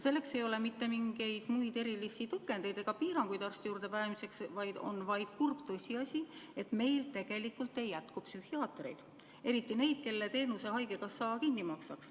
Selleks ei ole mitte mingid muud erilised tõkendid ja piirangud arsti juurde pääsemiseks, vaid on kurb tõsiasi, et meil tegelikult ei jätku psühhiaatreid, eriti neid, kelle teenuse haigekassa kinni maksaks.